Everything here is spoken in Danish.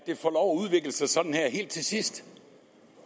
udvikle sig sådan her helt til sidst